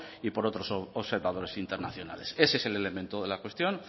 y por otros observadores internacionales ese es el elemento de la cuestión